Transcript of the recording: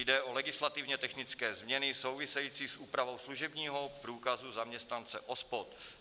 Jde o legislativně technické změny související s úpravou služebního průkazu zaměstnance OSPOD.